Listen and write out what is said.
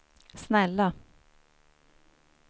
snälla